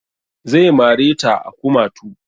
Zai mare ta a kumatu